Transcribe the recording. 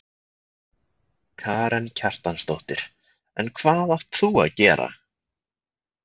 Karen Kjartansdóttir: En hvað átt þú að gera?